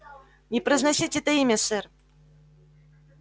не произносите это имя сэр